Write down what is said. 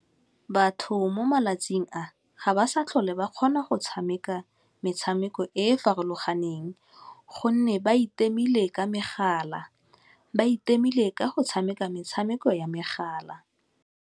Batho mo malatsing a ga ba sa tlhole ba kgona go tshameka metshameko e e farologaneng gonne ba itemile ka megala, ba itemile ka go tshameka metshameko ya megala.